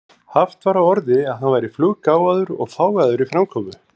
Haft var á orði að hann væri fluggáfaður og fágaður í framkomu.